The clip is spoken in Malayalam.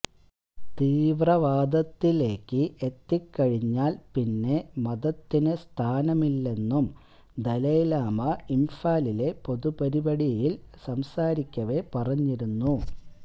തീവ്രവാദത്തിലേക്ക് എത്തിക്കഴിഞ്ഞാല് പിന്നെ മതത്തിന് സ്ഥാനമില്ലെന്നും ദലൈലാമ ഇംഫാലിലെ പൊതുപരിപാടിയില് സംസാരിക്കവേ പറഞ്ഞിരുന്നു